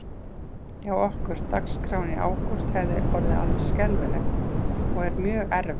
Hjá okkur, dagskráin í ágúst hefði orðið alveg skelfileg og er mjög erfið.